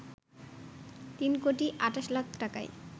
তিন কোটি ২৮ লাখ টাকায়